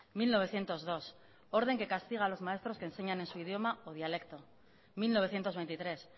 mil novecientos dos orden que castiga a los maestros que enseñan en su idioma o dialecto mil novecientos veintitrés